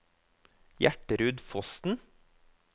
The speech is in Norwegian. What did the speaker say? Gjertrud Fossen